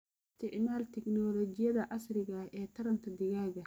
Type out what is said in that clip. Isticmaal tignoolajiyada casriga ah ee taranta digaaga.